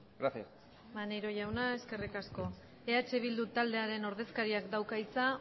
gracias maneiro jauna eskerrik asko eh bildu taldearen ordezkariak dauka hitza